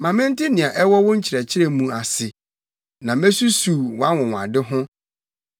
Ma mente nea ɛwɔ wo nkyerɛkyerɛ mu ase; na mesusuw wʼanwonwade ho.